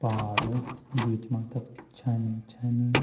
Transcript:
पहाड़ बीच मा तख छनी छनी।